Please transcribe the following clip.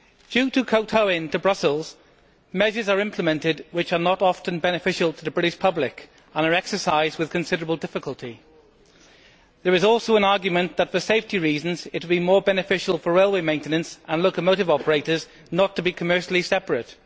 Due to kowtowing to Brussels, measures are implemented which are not often beneficial to the British public and are exercised with considerable difficulty. There is also an argument that for safety reasons it would be more beneficial for railway maintenance and locomotive operators not to be commercially separate.